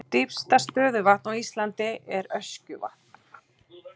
Dýpsta stöðuvatn á Íslandi er Öskjuvatn.